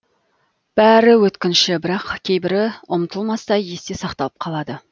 бәрі өткінші бірақ кейбірі ұмытылмастай есте сақталып қалады